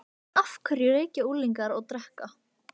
En af hverju reykja unglingar og drekka?